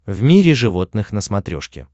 в мире животных на смотрешке